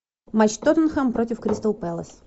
матч тоттенхэм против кристал пелас